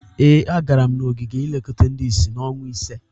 Ee, agara m ogige nlekọta ndị isi n'ọnwa ise.